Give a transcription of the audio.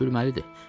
Gülməlidir.